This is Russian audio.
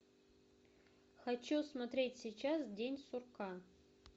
хочу смотреть сейчас день сурка